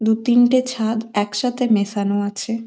দু তিনটে ছাদ একসাথে মেশানো আছে।